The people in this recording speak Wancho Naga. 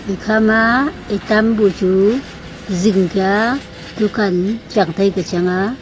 ekha ma etam bhu chu zing kya dukan chang tai kya chang aa.